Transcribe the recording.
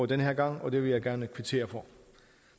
den her gang og det vil jeg gerne kvittere for